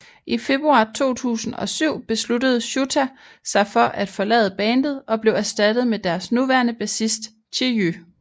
I februar 2007 besluttede Shouta sig for at forlade bandet og blev erstattet med deres nuværende bassist Chiyu